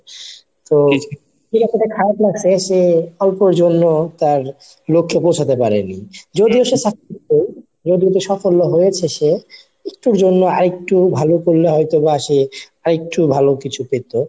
তো খারাপ লাগছে সে অল্পের জন্য তার লক্ষ্যে পৌঁছাতে পারেনি যদিও সে যদি সাফল্য হয়েছে সে একটুর জন্য আরেকটু ভালো করলে হয়তো বা সে আরেকটু ভালো কিছু পেতো.